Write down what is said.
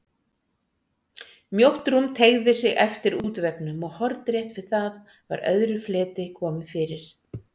Mjótt rúm teygði sig eftir útveggnum og hornrétt við það var öðru fleti komið fyrir.